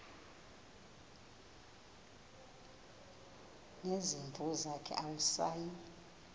nezimvu zakhe awusayi